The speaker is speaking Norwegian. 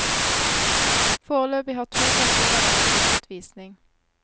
Foreløpig har to personer vært på lukket visning.